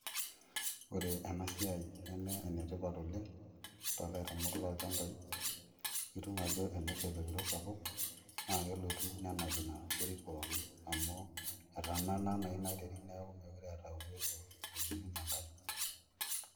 Oore eena siai neme ene tipat oleng, tolairemok lolchambai, itum aajo tenesha olopiro sapuk, naa kelotu nenap iina terit pooki, amuu etanana naa ina terit niaku mekure eeta uwezo naidimunyie enkare.